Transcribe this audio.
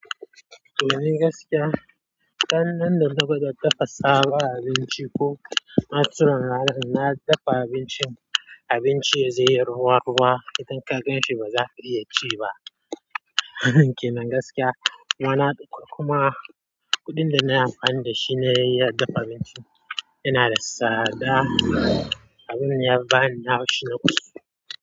Domin gaskiya, dan nan da na ga ta dafa sabon abinci ko na tsorata na, na dafa abincin, abinci zai yi ruwa ruwa, itan ka gan shi ba za ka iya ci ba. Kinan gaskiya, mana kuma kuɗin da na yi amfani da shi ne ya dafa abinci. Ina da tsada, abin ya bani haushi na kusa.